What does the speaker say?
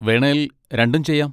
വേണേൽ രണ്ടും ചെയ്യാം.